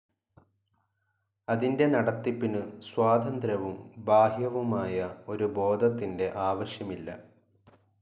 അതിൻ്റെ നടത്തിപ്പിനു സ്വതന്ത്രവും ബാഹ്യവുമായ ഒരു ബോധത്തിൻ്റെ ആവശ്യമില്ല.